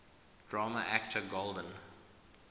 drama actor golden